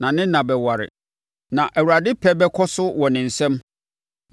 na ne nna bɛware, na Awurade pɛ bɛkɔ so wɔ ne nsam.